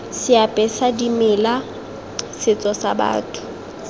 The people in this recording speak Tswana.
seapesa dimela setso sa batho